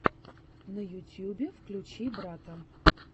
на ютьюбе включи барта